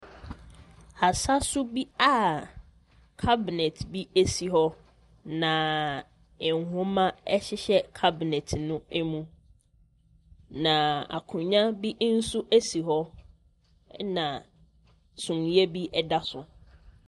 Asaso bi a kabinɛt bi esi hɔ na nwoma ɛhyehyɛ kabenɛt no mu. Na akonnwa bi nso esi hɔ. Na sumiiɛ bi da so.